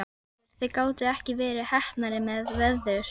Hörður, þið gátuð ekki verið heppnari með veður?